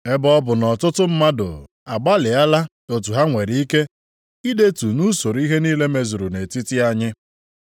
Ebe ọ bụ nʼọtụtụ mmadụ agbalịala otu ha nwere ike i detu nʼusoro ihe niile mezuru nʼetiti anyị.